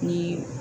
Ni